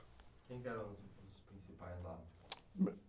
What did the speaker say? Quem que eram os, os principais lá?